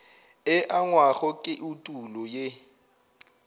e angwago ke etulo ye